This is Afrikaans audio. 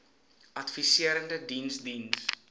adviserende diens diens